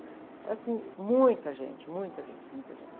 Era assim, muita gente, muita gente, muita gente.